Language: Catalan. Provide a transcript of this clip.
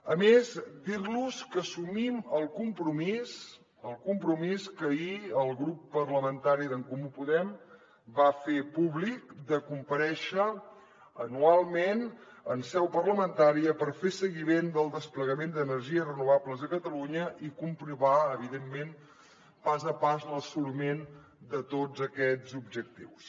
a més dir los que assumim el compromís que ahir el grup parlamentari d’en comú podem va fer públic de comparèixer anualment en seu parlamentària per fer seguiment del desplegament d’energies renovables a catalunya i comprovar evidentment pas a pas l’assoliment de tots aquests objectius